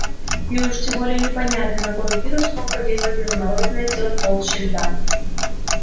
и уж тем более непонятно какой вирус мог подействовать на замороженное тело в толще льда